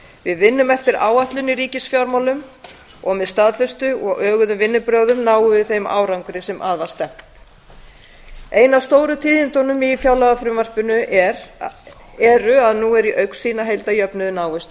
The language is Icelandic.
við vinnum eftir áætlun í ríkisfjármálum og með staðfestu og öguðum vinnubrögðum náum við þeim árangri sem að var stefnt ein af stóru tíðindunum í fjárlagafrumvarpinu eru að nú er í augsýn að heildarjöfnuður náist